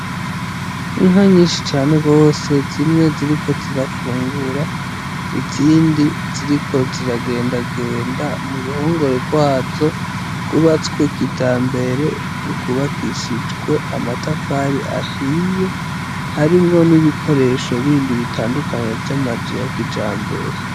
Inka nyinshi cane gose zimwe ziriko zirafungura izindi ziriko ziragendagenda mu ruhongore rwazo rwubatswe kijambere rwubakishijwe amatafari ahiye harimwo n'ibikoresho bindi bitandukanye vy'amazu ya kijambere.